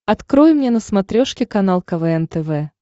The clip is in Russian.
открой мне на смотрешке канал квн тв